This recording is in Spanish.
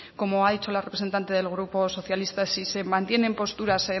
como ha dicho la representante del grupo socialista si se mantienen posturas